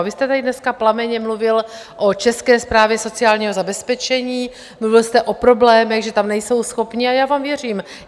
A vy jste tady dneska plamenně mluvil o České správě sociálního zabezpečení, mluvil jste o problémech, že tam nejsou schopni, a já vám věřím.